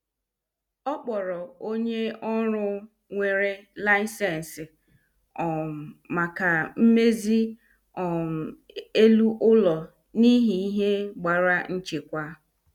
Ọ kpọrọ onye ọru nwere laisensi um maka mmezi um elu ụlọ n' ihi ihe gbara nchekwa.